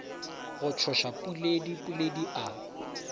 go tsoša puledi puledi a